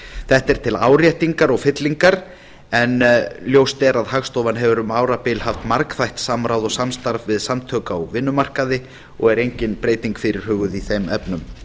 þetta er til áréttingar og fyllingar en ljóst er að hagstofan hefur um árabil haft margþætt samráð og samstarf við samtök á vinnumarkaði og er engin breyting fyrirhuguð í þeim efnum